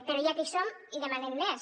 però ja que hi som demanem més